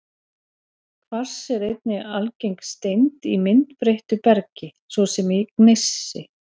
Kvars er einnig algeng steind í myndbreyttu bergi, svo sem í gneisi.